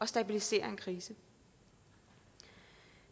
stabilisere en krise